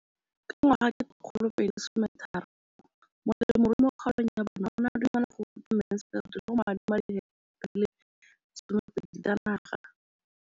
Ka ngwaga wa 2013, molemirui mo kgaolong ya bona o ne a dumela go ruta Mansfield le go mo adima di heketara di le 12 tsa naga.